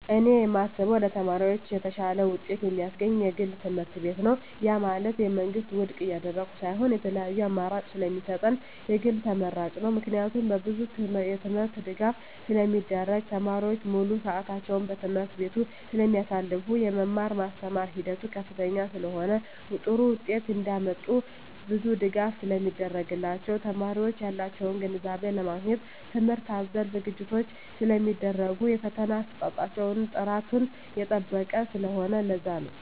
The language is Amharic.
እኔ የማስበው ለተማሪዎች የተሻለ ውጤት የማስገኝ የግል ትምህርትቤት ነው ያ ማለት የመንግስትን ውድቅ እያደረኩ ሳይሆን የተለያዪ አማራጭ ስለሚሰጠን የግል ተመራጭ ነው። ምክንያቱም በብዙ የትምህርት ድጋፍ ስለሚደረግ , ተማሪዎች ሙሉ ስዕታቸውን በትምህርት ቤቱ ስለማሳልፋ , የመማር ማስተማር ሂደቱ ከፍተኛ ስለሆነ ጥሩ ውጤት እንዳመጡ ብዙ ድጋፍ ስለሚደረግላቸው , የተማሪዎች ያላቸውን ግንዛቤ ለማግኘት ትምህርት አዘል ዝግጅቶች ስለሚደረጉ የፈተና አሰጣጣቸው ጥራቱን የጠበቀ ስለሆነ ለዛ ነው